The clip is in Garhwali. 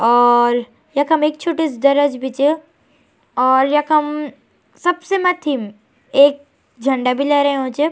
और यखम एक छोटी सी दराज भी च और यखम सबसे मथ्थी म एक झंडा भी लहरयुं च।